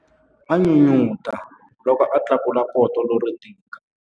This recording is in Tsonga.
A n'unun'uta loko a tlakula poto lero tika.